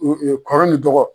kɔrɔ ni dɔgɔ.